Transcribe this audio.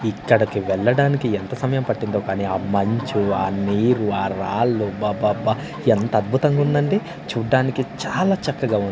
ఇక్కడికి వెళ్లడానికి ఎంత సమయం పట్టిందో కానీ ఆ మంచు ఆ నీరు ఆ రాళ్లు అబ్బబ్బ ఎంత అద్భుతంగా ఉందండి చూడ్డానికి చాలా చక్కగా ఉంది.